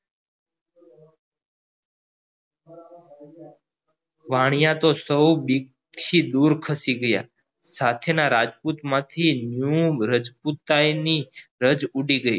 વાણીયા તો સો બીક થી દૂર ખસી ગયા સાથેના રાજપૂત માંથી રાજપૂતાઈન ની રજ ઉડી ગયી